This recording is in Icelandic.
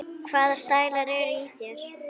Hvaða stælar eru í þér?